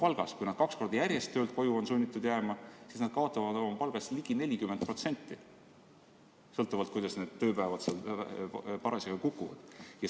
Kui nad on sunnitud juba kaks korda järjest töölt koju jääma, siis nad kaotavad oma palgast ligi 40%, sõltuvalt sellest, kuidas need tööpäevad parasjagu kukuvad.